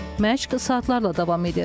Məşq saatlarla davam edir.